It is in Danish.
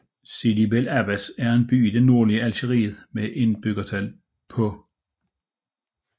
Sidi Bel Abbès er en by i det nordlige Algeriet med et indbyggertal på